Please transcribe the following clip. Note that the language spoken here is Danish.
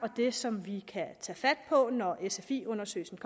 det som vi kan tage fat på når sfi undersøgelsens